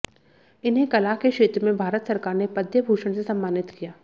इन्हें कला के क्षेत्र में भारत सरकार ने पद्म भूषण से समान्नित किया